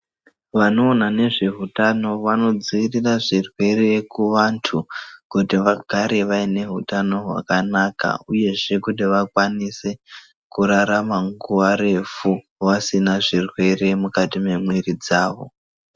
Vanoona nezveutano vanodzivirirwa zvirwere kuvantu kuti vagare vaine hutano hwakanaka uyezve kuti vakwanise kurarama nguwa refu vasina zvirwere mukati mwemwiri dzavo.